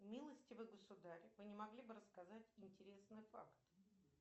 милостивый государь вы не могли бы рассказать интересный факт